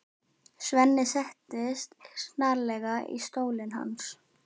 Svenni settist snarlega í stólinn hans.